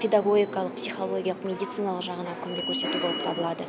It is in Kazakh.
педагогикалық психологиялық медициналық жағынан көмек көрсету болып табылады